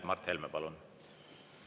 Mart Helme, palun!